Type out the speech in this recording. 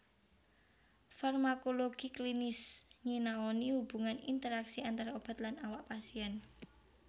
Farmakologi klinis nyinaoni hubungan interaksi antara obat lan awak pasien